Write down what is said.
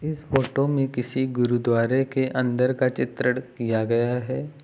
इस फोटो में किसी गुरुद्वारे के अंदर का चित्रण किया गया है।